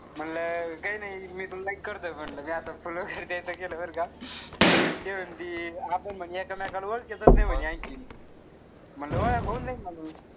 म्हणलं काई नाई. मी तुला like करतोय म्हणलं मी असं फुल वगैरे द्यायचं केलं बरं का. ते म्हणती आपण म्हणे एकमेकाला ओळखीतच नाई म्हणे आणखी. म्हणलं वळख होऊन जाईन म.